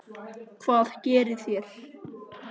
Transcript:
Hvað gerið þér?